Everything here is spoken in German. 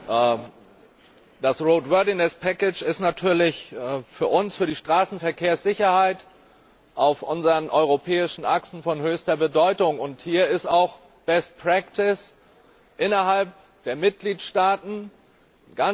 Frau Präsidentin! Das ist natürlich für uns, für die Straßenverkehrssicherheit auf unseren europäischen Achsen von höchster Bedeutung. Und hier ist auch innerhalb der Mitgliedstaaten ein ganz entscheidender Punkt.